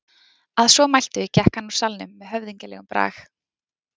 Að svo mæltu gekk hann úr salnum með höfðinglegum brag.